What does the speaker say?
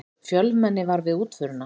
Fjölmenni var við útförina